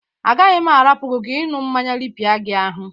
Agaghị m ahapụ gi ka ịñụ mmanya rịpịa gi ahụ.